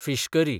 fish curry